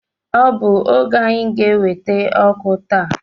Ọ bụ oge anyị ga enweta ọkụ taa